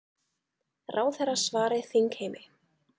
Ráðherra svari þingheimi